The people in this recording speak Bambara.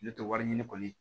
Ne tɛ wari ɲini kɔni